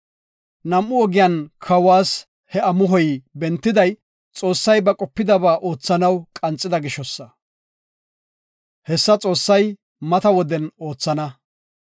Nam7u ogiyan kawas he amuhoy bentiday Xoossay ba qopidaba oothanaw qanxida gishosa. Hessa Xoossay mata woden oothana.